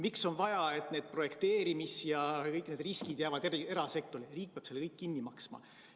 Miks on vaja, et need projekteerimised ja kõik need riskid jäävad erasektorisse ja riik peab selle kõik lõpuks kinni maksma?